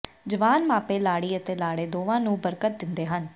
ਜਵਾਨ ਮਾਪੇ ਲਾੜੀ ਅਤੇ ਲਾੜੇ ਦੋਵਾਂ ਨੂੰ ਬਰਕਤ ਦਿੰਦੇ ਹਨ